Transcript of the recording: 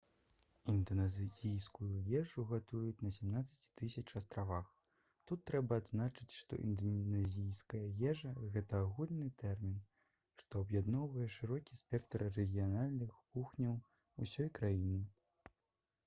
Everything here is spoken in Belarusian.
інданезійскую ежу гатуюць на 17 000 астравах тут трэба адзначыць што інданезійская ежа гэта агульны тэрмін што аб'ядноўвае шырокі спектр рэгіянальных кухняў усёй краіны